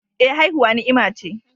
Eh, haihuwa ni'ima ce